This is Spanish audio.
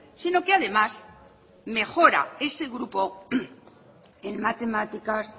sino que además mejora ese grupo en matemáticas